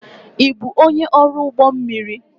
Ị bụ onye ọrụ ụgbọ mmiri?